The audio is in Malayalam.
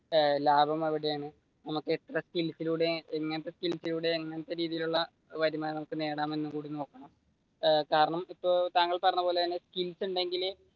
ലാഭമെവിടെയാണ് നമുക്ക് എത്ര സ്‌കിൽസിലൂടെ ഇങ്ങനത്തെ സ്‌കിൽസിലൂടെ ഇങ്ങനത്തെ രീതിയിൽ ഉള്ള വരുമാനം നേടാം എന്നും കൂടി നോക്കണം കാരണം ഇപ്പൊ താങ്കൾ പറഞ്ഞത് പോലെ തന്നെ സ്‌കിൽസ് ഉണ്ടെങ്കിലേ